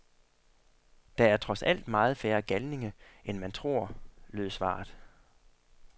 Der er trods alt meget færre galninge, end man tror, lød svaret.